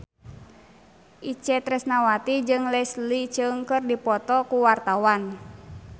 Itje Tresnawati jeung Leslie Cheung keur dipoto ku wartawan